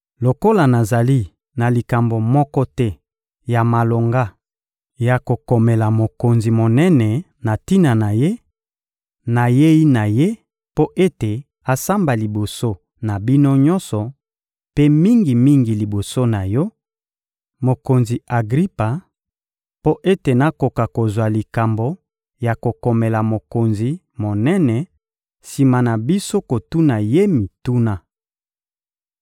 Lokola nazali na likambo moko te ya malonga ya kokomela mokonzi monene na tina na ye, nayei na ye mpo ete asamba liboso na bino nyonso, mpe mingi-mingi liboso na yo, mokonzi Agripa, mpo ete nakoka kozwa likambo ya kokomela mokonzi monene, sima na biso kotuna ye mituna.